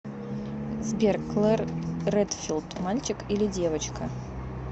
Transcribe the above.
сбер клэр редфилд мальчик или девочка